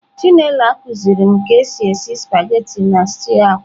Chinelo akuzirim ka esi esi spaghetị na stew akwa.